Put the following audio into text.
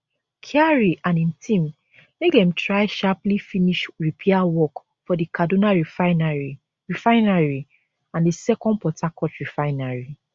kyari and im team make dem try sharply finish repair work for di kaduna refinery refinery and di second port harcourt refinery